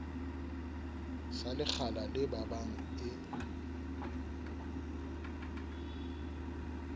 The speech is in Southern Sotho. sa lekgala le babang e